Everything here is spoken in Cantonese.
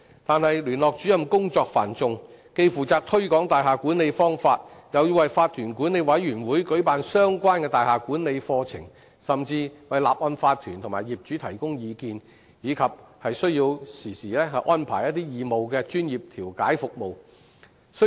但聯絡主任工作繁重，既負責推廣大廈管理方法，又要為法團管理委員會舉辦相關的大廈管理課程，甚至要為法團和業主提供意見，並需要經常安排義務專業調解服務。